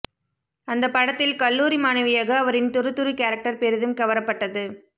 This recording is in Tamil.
அந்த படத்தில் கல்லூரி மாணவியாக அவரின் துரு துரு கேரக்டர் பெரிதும் கவரப்பட்டது